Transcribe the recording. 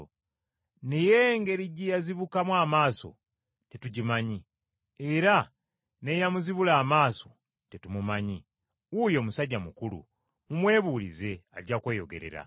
Naye engeri gye yazibukamu amaaso tetugimanyi, era n’eyamuzibula amaaso tetumumanyi. Wuuyo musajja mukulu mumwebuulize ajja kweyogerera.”